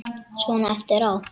Svona eftir á.